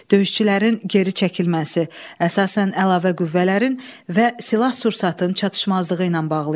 Döyüşçülərin geri çəkilməsi əsasən əlavə qüvvələrin və silah-sursatın çatışmazlığı ilə bağlı idi.